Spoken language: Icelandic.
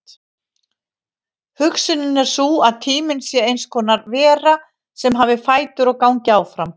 Hugsunin er sú að tíminn sé eins konar vera sem hafi fætur og gangi áfram.